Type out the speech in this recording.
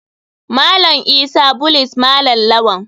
Malam isa bullies malam lawal.